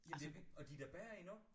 Ja det er det og de er da bedre endnu